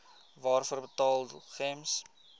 waarvoor betaal gems